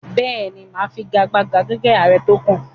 Bẹ́ẹ̀ ni, mà á figagbága gẹ́gẹ́ ààrẹ tó kàn